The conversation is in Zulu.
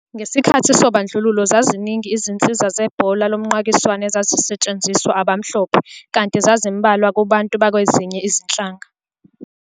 Ngesikhathi sobandlululo, zaziningi izinsiza zebhola lomqakiswano ezazisetshenziswa abamhlophe, kanti zazimbalwa kubantu bakwezinye izinhlanga.